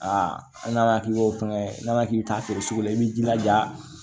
Aa hali n'a k'i b'o fɛngɛ n'a k'i bi taa feere sugu la i b'i jilaja